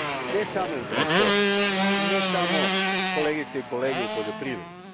Ne samo u transportu, ne samo, kolegice i kolege, u poljoprivredi.